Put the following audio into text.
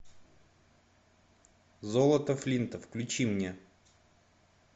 золото флинта включи мне